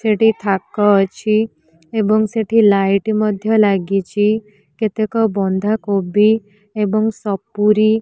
ସେଇଠି ଥାକ ଅଛି ଏବଂ ସେଇଠି ଲାଇଟ ମଧ୍ଯ ଲାଗିଛି କେତେକ ବନ୍ଧାକୋବି ଏବଂ ସପୁରି --